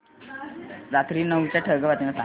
रात्री नऊच्या ठळक बातम्या सांग